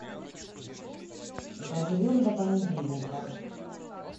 доживем до понедельника